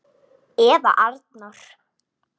Eða Arnór!